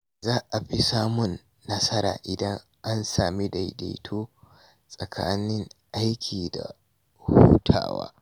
Za a fi samun nasara idan an sami daidaito tsakanin aiki da hutawa.